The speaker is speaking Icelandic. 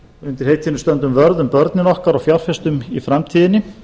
undir heitinu stöndum vörð um börnin okkar og fjárfestum í framtíðinni